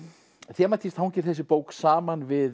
þematískt hangir þessi bók saman við